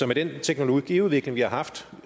med den teknologiudvikling vi har haft